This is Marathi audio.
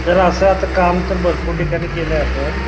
सर असं आता काम तर भरपूर ठिकाणी केलंय आपण